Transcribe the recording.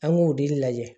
An b'o de lajɛ